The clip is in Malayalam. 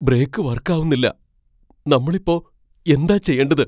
ബ്രേക്ക് വർക്കാവുന്നില്ല. നമ്മൾ ഇപ്പോ എന്താ ചെയ്യേണ്ടത്?